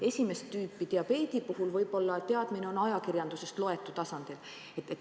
Esimest tüüpi diabeedi puhul võib olla teadmine ajakirjandusest loetu tasandil.